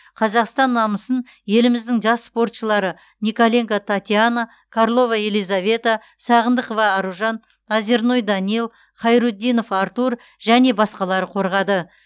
қазақстан намысын еліміздің жас спортшылары николенко татьяна карлова елизавета сағындықова аружан озерной данил хайрутдинов артур және басқалар қорғады